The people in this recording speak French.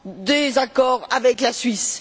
des accords avec la Suisse.